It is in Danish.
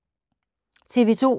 TV 2